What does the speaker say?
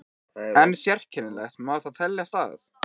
En sérkennilegt má það teljast að